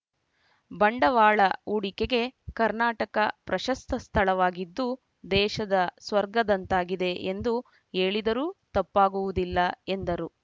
ಬಂಡವಾಳ ಹೂಡಿಕೆಗೆ ಕರ್ನಾಟಕ ಪ್ರಶಸ್ತ ಸ್ಥಳವಾಗಿದ್ದು ದೇಶದ ಸ್ವರ್ಗದಂತಾಗಿದೆ ಎಂದು ಹೇಳಿದರೂ ತಪ್ಪಾಗುವುದಿಲ್ಲ ಎಂದರು